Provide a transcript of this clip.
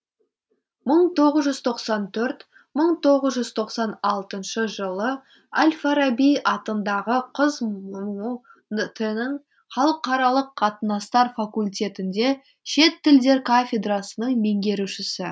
мың тоғыз жүз тоқсан төрт мың тоғыз жүз тоқсан алтыншы жылы әл фараби атындағы қазмұу тінің халықаралық қатынастар факультетінде шет тілдер кафедрасының меңгерушісі